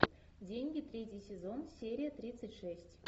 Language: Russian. деньги третий сезон серия тридцать шесть